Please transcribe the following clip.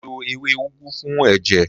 Ó lo ewé úgú fún ẹ̀jẹ̀.